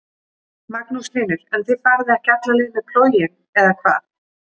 Magnús Hlynur: En þið farið ekki alla leið með plóginn eða hvað?